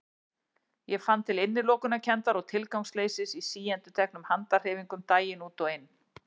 Ég fann til innilokunarkenndar og tilgangsleysis í síendurteknum handahreyfingum daginn út og inn.